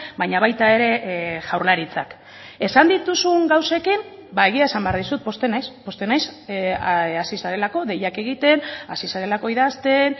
baina baita ere jaurlaritzak esan dituzun gauzekin egia esan behar dizut pozten naiz pozten naiz hasi zarelako deiak egiten hasi zarelako idazten